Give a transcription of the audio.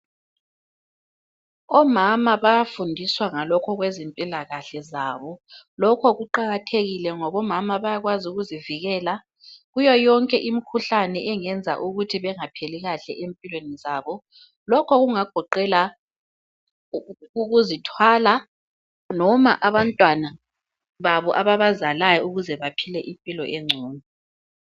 Omama bayafundiswa ngalokho okwezempilakahle zabo. Lokho kuqakathekile ngoba omama bayakwazi ukuzivikela kuyo yonke imikhuhlane engenza ukuthi bengaphili kahle empilweni zabo. Lokho kungagoqela ukuzithwala noma abantwana babo ababazalayo baphile impilo engcono.